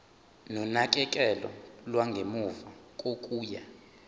nonakekelo lwangemuva kokuya